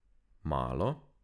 Malo?